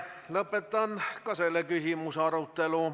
Lõpetan ka selle küsimuse arutelu.